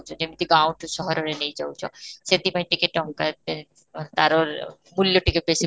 ଯେମିତି ଠୁ ସହରରେ ନେଇ ଯାଉଛ ସେଠି ପାଇଁ ଟିକେ ତାଙ୍କ ଏଁ ତା'ର ମୂଲ୍ୟ ଟିକେ ବେଶୀ